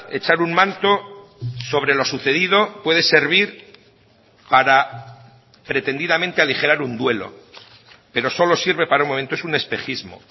echar un manto sobre lo sucedido puede servir para pretendidamente aligerar un duelo pero solo sirve para un momento es un espejismo